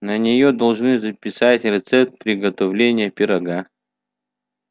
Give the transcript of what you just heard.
на нее должны записать рецепт приготовления пирога